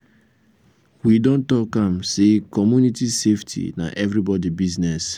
we don talk am sey community safety na everybodi business.